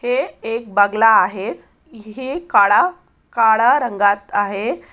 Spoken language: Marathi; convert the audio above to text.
हे एक बगला आहे है काड़ा-काळा रंगात आहे.